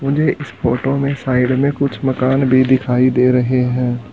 मुझे इस फोटो में साइड में कुछ मकान भीं दिखाई दे रहें हैं।